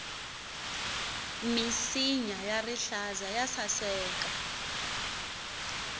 minsinya ya rihlaza ya saseka